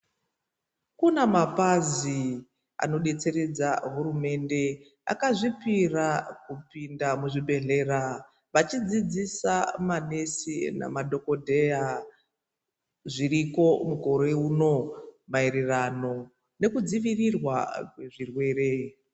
Kuna mapazi anodetseredza hurumende akazvipira kupinda muzvibhedhlera vachidzidzisa manesi nemadhokodheya zviriko mukore uno maererano nekudzivirirwa kwezvirwere.